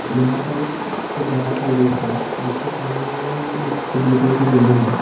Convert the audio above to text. यहां पर एक बड़ा सा लेक है जिसके सामने ही एक ब्लू कलर की बिल्डिंग है।